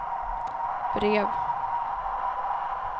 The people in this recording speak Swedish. brev